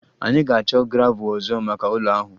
Anyị ga-achọ gravel ọzọ maka ụlọ ahụ